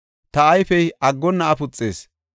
Ta ayfey aggonna afuxees.